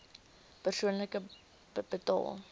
persoonlik betaal